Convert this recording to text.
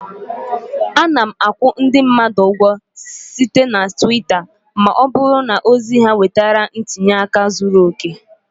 Ana akwụ ndị mmadụ ụgwọ site na Twitter ma ọ bụrụ na ozi ha nwetara ntinye aka zuru oke